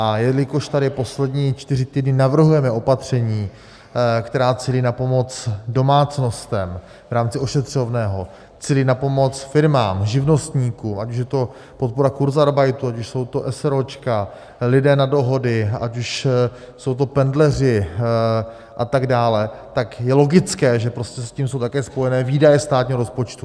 A jelikož tady poslední čtyři týdny navrhujeme opatření, která cílí na pomoc domácnostem v rámci ošetřovného, cílí na pomoc firmám, živnostníkům, ať už je to podpora kurzarbeitu, ať už jsou to eseróčka, lidé na dohody, ať už jsou to pendleři a tak dále, tak je logické, že prostě s tím jsou také spojené výdaje státního rozpočtu.